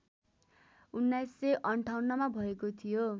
१९५८ मा भएको थियो